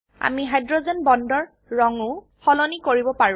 আমি হাইড্ৰোজেন বন্ডৰ ৰঙ ও সলনি কৰিব পাৰো